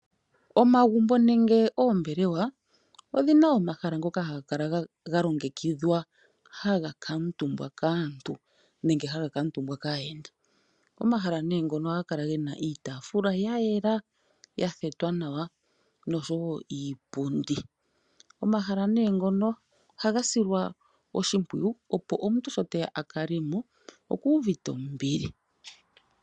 Oomagumbo nenge oombelewa odhina omahala ngoka haga kala galongekithwa ngoka haga kamutumbwa kaantu nenge kaayenda. Oomahala nee ngoka ohaga kala gena iitafula yayela yathetwa nawa nosho woo iipundi. Oomahala nee ngoka ohaga silwa oshipwiyu opo omuntu sho teya akale mo oku uvite ombili.